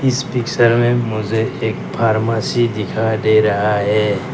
इस पिक्चर में मुझे एक फार्मेसी दिखाई दे रहा है।